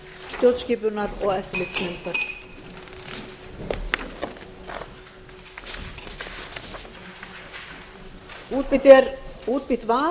stjórnskipunar og eftirlitsnefndar til svara eru fjármálaráðherra sjávarútvegs og landbúnaðarráðherra efnahags og viðskiptaráðherra og umhverfisráðherra